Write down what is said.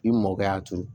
I mɔkɛ y'a turu